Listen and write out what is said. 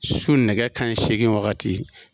Su nɛgɛ kaɲɛ seegin wagati.